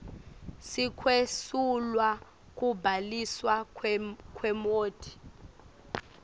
sekwesulwa kubhaliswa kwemoti